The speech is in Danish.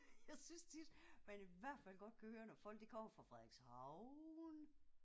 Jeg synes tit man i hvert godt kan høre når folk de kommer fra Frederikshavn